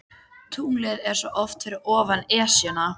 Tunglið er svo oft fyrir ofan Esjuna.